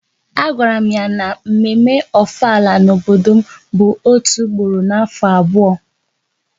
A gwara m ya na mme mme Ofala n'obodo m bụ otu ugboro n'afọ abụọ